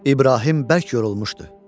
İbrahim bərk yorulmuşdu.